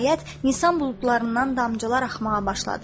Nəhayət, nisan buludlarından damcılar axmağa başladı.